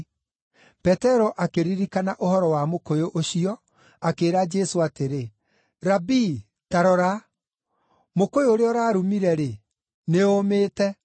Petero akĩririkana ũhoro wa mũkũyũ ũcio, akĩĩra Jesũ atĩrĩ, “Rabii, ta rora! Mũkũyũ ũrĩa ũrarumire-rĩ, nĩũũmĩte!”